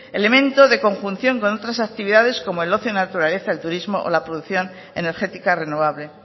elemento de conjunción con otras actividades como el ocio en la naturaleza el turismo o la producción energética renovable